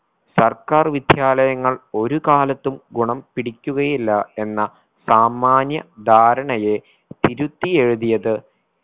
സർക്കാർ വിദ്യാലയങ്ങൾ ഒരു കാലത്തും ഗുണം പിടിക്കുകയില്ല എന്ന സാമാന്യ ധാരണയെ തിരുത്തി എഴുതിയത്